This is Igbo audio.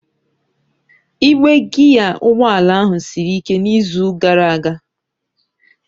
Igbe giya ụgbọ ala ahụ siri ike n'izu gara aga.